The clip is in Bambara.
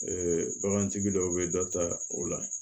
bagantigi dɔw bɛ dɔ ta o la